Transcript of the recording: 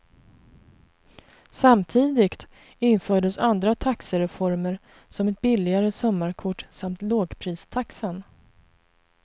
Samtidigt infördes andra taxereformer som ett billigare sommarkort samt lågpristaxan.